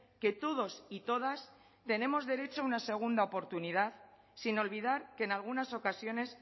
que todos y todas tenemos derecho a una segunda oportunidad sin olvidar que en algunas ocasiones